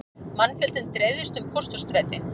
Mannfjöldinn dreifðist um Pósthússtræti